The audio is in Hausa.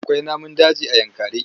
Akwai namun daji a Yankari.